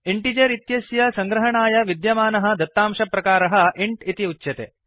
integer इत्यस्य सङ्ग्रहणाय विद्यमानः दत्तांशप्रकारः इन्ट् इति उच्यते